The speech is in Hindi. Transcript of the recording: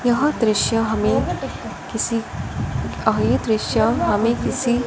यह दृश्य हमें किसी अ ये दृश्य हमें किसी--